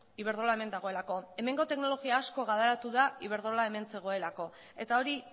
iberdrola hemen dagoelako hemengo teknologia asko garatu da iberdrola hemen zegoelako eta hori